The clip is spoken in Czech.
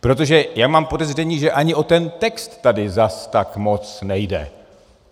Protože já mám podezření, že ani o ten text tady zas tak moc nejde.